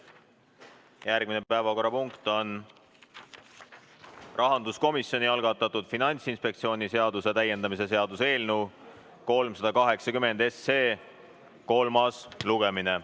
Järgmine päevakorrapunkt on rahanduskomisjoni algatatud Finantsinspektsiooni seaduse täiendamise seaduse eelnõu 380 kolmas lugemine.